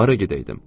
Hara gedəydim?